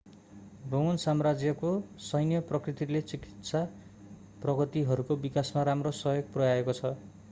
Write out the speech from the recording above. Roman साम्राज्यको सैन्य प्रकृतिले चिकित्सा प्रगतिहरूको विकासमा राम्रो सहयोग पुर्‍याएको छ।